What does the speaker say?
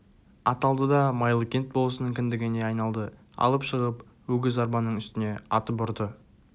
аталды да майлыкент болысының кіндігіне айналды алып шығып өгіз арбаның үстіне атып ұрды